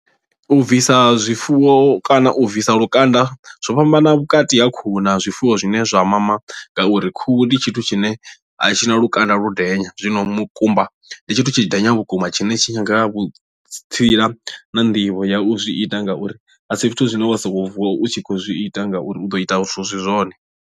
U bvisa zwifuwo kana u bvisa lukanda zwo fhambana vhukati ha khuhu na zwifuwo zwine zwa mama ngauri khuhu ndi tshithu tshine a tshi na lukanda ludenya zwino mukumba ndi tshithu tshidenya vhukuma tshine tshi nyaga vhutsila na nḓivho ya u zwi ita ngauri a si zwithu zwine wa sokou vuwa u tshi kho zwi ita ngauri u ḓo ita zwithu zwi si zwone.